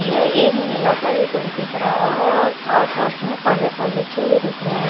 यह एक नीला सा भी कुछ दिख रहा है और आस पास में काले-काले से भी दिख रहे हैं ।